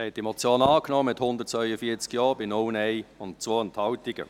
Sie haben die Motion angenommen, mit 142 Ja- bei 0 Nein-Stimmen und 2 Enthaltungen.